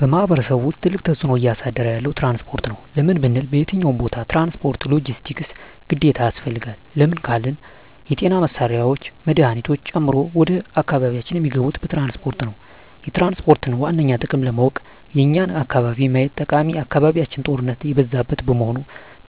በማሕበረሰቡ ውስጥ ትልቅ ተፅዕኖ እያሳደረ ያለዉ ትራንስፖርት ነዉ። ለምን ብንል በየትኛዉም ቦታ ትራንስፖርት(ሎጀስቲክስ) ግዴታ ያስፈልጋል። ለምን ካልን የጤና መሳሪያወች መድሀኒቶችን ጨምሮ ወደ አካባቢያችን እሚገቡት በትራንስፖርት ነዉ። የትራንስፖርትን ዋነኛ ጥቅም ለማወቅ የኛን አካባቢ ማየት ጠቃሚ አካባቢያችን ጦርነት የበዛበት በመሆኑ